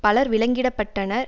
பலர் விலங்கிடப்பட்டனர்